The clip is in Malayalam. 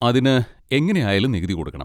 അതിന് എങ്ങനെ ആയാലും നികുതി കൊടുക്കണം.